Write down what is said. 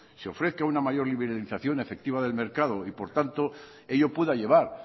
se ofrezca una mayor liberalización efectiva del mercado y por tanto ello pueda llevar